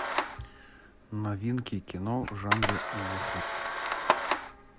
новинки кино в жанре ужаса